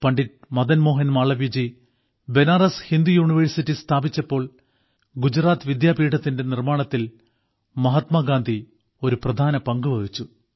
Pandit Madanmohan Malaviyaji Banaras Hindu university സ്ഥാപിച്ചപ്പോൾ ഗുജറാത്ത് വിദ്യാപീഠത്തിന്റെ നിർമ്മാണത്തിൽ മഹാത്മാഗാന്ധി ഒരു പ്രധാന പങ്കു വഹിച്ചു